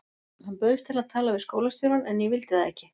Hann bauðst til að tala við skólastjórann en ég vildi það ekki.